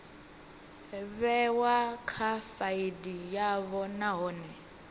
vhewa kha faili yavho nahone